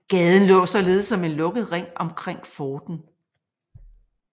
Gaden lå således som en lukket ring omkring forten